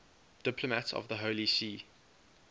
diplomats of the holy see